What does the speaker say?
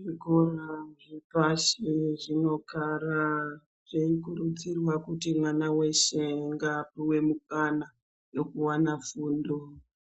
Zvikora zvepashi zvinogara zveikurudzirwa kuti mwana weshe ngaapuwe mukana wekuwana fundo.